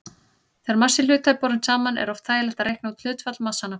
Þegar massi hluta er borinn saman er oft þægilegt að reikna út hlutfall massanna.